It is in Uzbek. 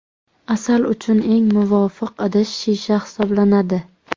Asal uchun eng muvofiq idish shisha hisoblanadi.